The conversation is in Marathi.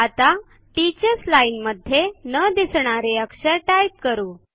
आता टीचर्स लाईन मध्ये न दिसणारे अक्षर टाइप करू